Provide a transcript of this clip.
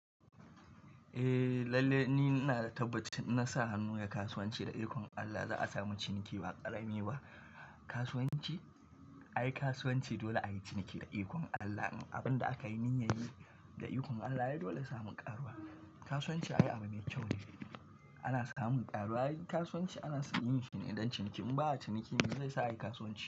Eh lalle ni ina da tabbaci in na sa hannu ya kasuwanci da ikon Allah za a samu ciniki ba ƙarami ba. Kasuwanci ai kasuwanci dole a yi ciniki da ikon Allah. Abin da aka yi min ya yi da ikon Allah, ya dole a samu ƙaruwa. Kasuwanci ai abu mai kyau ne, ana samun ƙaruwa. Ai kasuwanci ana yin shi ne dan ciniki un ba a ciniki me zai sa a yi kasuwanci?